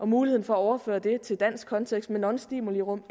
muligheden for at overføre det til dansk kontekst med nonstimulirum